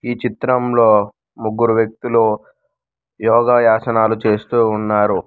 ఈ చిత్రంలో ముగ్గురు వ్యక్తులు యోగా యాసనాలు చేస్తూ ఉన్నారు.